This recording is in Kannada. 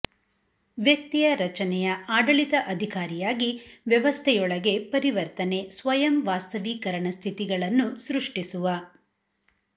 ವ್ಯಕ್ತಿಯ ರಚನೆಯ ಆಡಳಿತ ಅಧಿಕಾರಿಯಾಗಿ ವ್ಯವಸ್ಥೆಯೊಳಗೆ ಪರಿವರ್ತನೆ ಸ್ವಯಂ ವಾಸ್ತವೀಕರಣ ಸ್ಥಿತಿಗತಿಗಳನ್ನು ಸೃಷ್ಟಿಸುವ